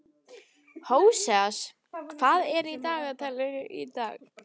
Hóseas, hvað er í dagatalinu í dag?